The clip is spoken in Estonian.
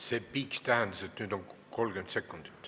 See piiks tähendas, et nüüd on jäänud 30 sekundit.